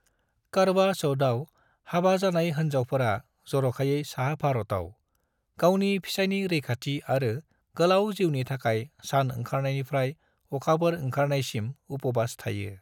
करवा चौथआव, हाबा जानाय होनजावफोरा, जरखायै साहा भारताव, गावनि फिसायनि रैखाथि आरो गोलाव जिउनि थाखाय सान ओंखारनायनिफ्राय अखाफोर ओंखारनायसिम उपुबास थायो।